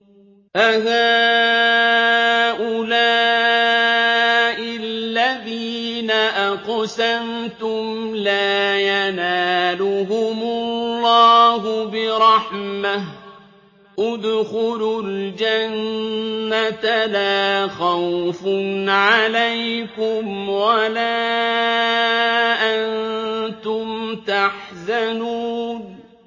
أَهَٰؤُلَاءِ الَّذِينَ أَقْسَمْتُمْ لَا يَنَالُهُمُ اللَّهُ بِرَحْمَةٍ ۚ ادْخُلُوا الْجَنَّةَ لَا خَوْفٌ عَلَيْكُمْ وَلَا أَنتُمْ تَحْزَنُونَ